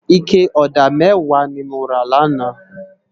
Iké òdá mèwá ni mó rá làná